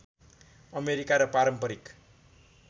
America र पारम्परिक